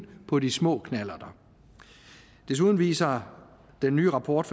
på de små knallerter desuden viser den nye rapport